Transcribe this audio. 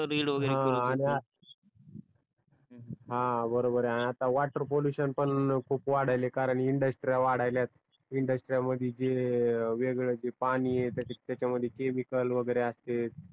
हा बरोबर यह अन वॉटर पॉल्युशन पण खूप वाडायला आहे कारण इंडस्ट्री वाडायल्या अहेत इंडस्ट्री मध्ये वेगळ जे त्याच्या मध्ये केमिकल वागेरे असते